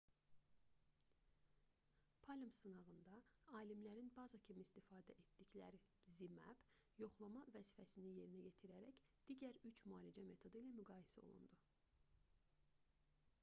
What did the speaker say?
palm sınağında alimlərin baza kimi istifadə etdikləri zmapp yoxlama vəzifəsini yerinə yetirərək digər üç müalicə metodu ilə müqayisə olundu